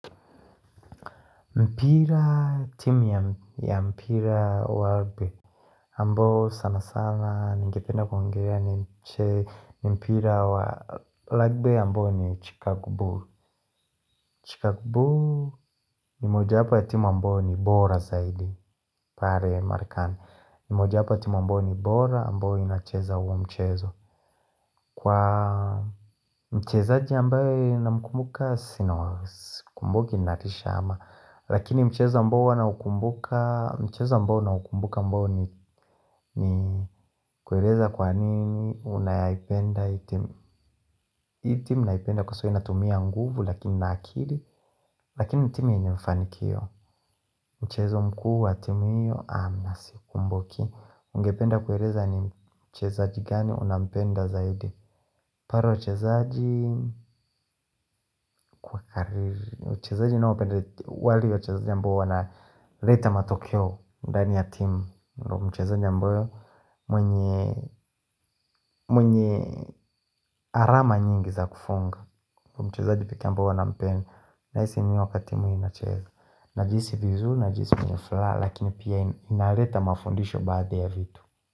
Mpira timu ya mpira wa rugby ambao sana sana ningependa kuongea ni mpira wa rugby ambao ni Chicago Bull Chicago Bull ni mojawapo ya timu ambao ni bora zaidi pare marekani Mojawapo timu ambao ni bora ambao inacheza huo mchezo Kwa mchezaji ambaye na mkumbuka sina kumbuki ni natisha ama Lakini mchezo ambao huwa naukumbuka mchezoambao naukumbuka ambao ni kueleza kwa nini unayaipenda hii timu hii timu naipenda kwa so inatumia nguvu lakini na akili Lakini timu yenye mfanikio Mchezo mkuu wa timu hiyo sikumbuki Ungependa kueleza ni mchezaji gani unampenda zaidi Paro wachezaji Uchezaji ninaopenda wale wachezaji ambao wanaleta matokeo ndani ya timu ndo mchezaji ambayo mwenye Arama nyingi za kufunga mchezaji pekee ambao huwa ninampenda nahisi wakati timu inacheza Najihsi vizur, najihisi mwenye furaha Lakini pia inaleta mafundisho Baada ya vitu.